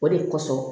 O de kosɔn